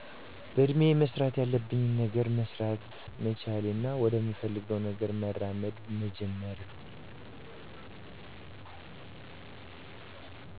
በእድሜየ መስራት ያለብኝን ገነር መሰራት መቻሌና ወደምፈልገውነገር መራመድ መጀመሬ